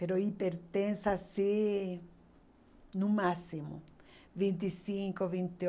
hipertensa assim no máximo. Vinte e cinco, vinte e